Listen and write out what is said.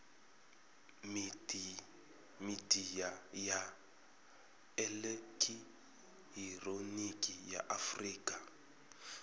midia ya elekihironiki ya afurika